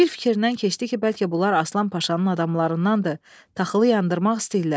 Bir fikrindən keçdi ki, bəlkə bunlar Aslan Paşanın adamlarındandı, taxılı yandırmaq istəyirlər.